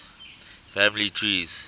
family trees